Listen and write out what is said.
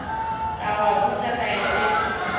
ka wa busa kaelo e